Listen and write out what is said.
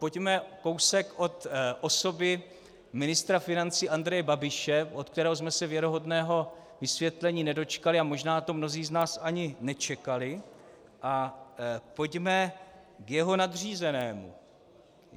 Pojďme kousek od osoby ministra financí Andreje Babiše, od kterého jsme se věrohodného vysvětlení nedočkali, a možná to mnozí z nás ani nečekali, a pojďme k jeho nadřízenému.